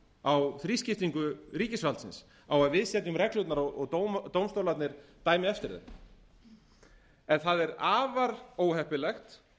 á þrískiptingu ríkisvaldsins á að við setjum reglurnar og dómstólarnir dæmi eftir þeim það er afar óheppilegt